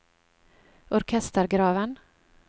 orkestergraven